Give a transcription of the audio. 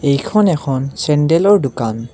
এইখন এখন চেণ্ডেলৰ দোকান।